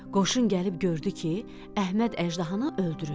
Qoşun gəlib gördü ki, Əhməd əjdahanı öldürüb.